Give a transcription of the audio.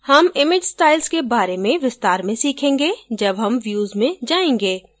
हम image styles के बारे में विस्तार में सीखेंगे जब हम views में जायेंगे